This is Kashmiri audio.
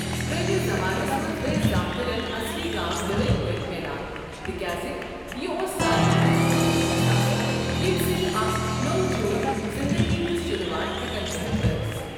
پرٛٲنِس زمانس منٛز ٲس زامترین اصلی گاو ڈٲلۍ پٲٹھۍ میلان، تِکیازِ یہِ اوس ساروٕے کھۄتہٕ قۭمتی اثاثہ ییٚمہِ سۭتۍ اکھ نٔوو جوٗرۍ زِنٛدٕگی ہِنٛز شروٗعات ہٚیکان کٔرِتھ ٲسۍ۔